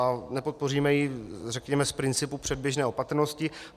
A nepodpoříme ji, řekněme, z principu předběžné opatrnosti.